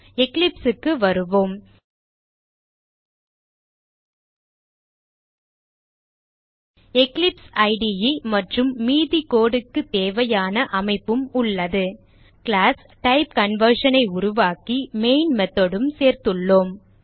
Eclipse க்கு வருவோம் Eclipse இடே மற்றும் மீதி code க்கு தேவையான அமைப்பும் உள்ளது கிளாஸ் TypeConversion ஐ உருவாக்கி மெயின் method உம் சேர்த்துள்ளோம்